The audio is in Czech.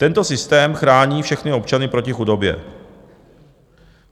Tento systém chrání všechny občany proti chudobě.